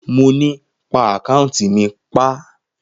Mo ni, pa àkáùntì mi pa!